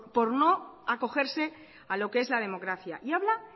por no acogerse a lo que es la democracia y habla